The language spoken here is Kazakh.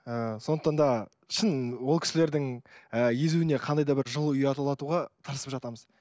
ыыы сондықтан да шын ол кісілердің ыыы езуіне қандай да бір жылу ұялатуға тырысып жатамыз